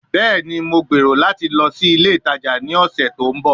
Bẹẹni, Mo gbero lati lọ si ile itaja ni ọsẹ to nbọ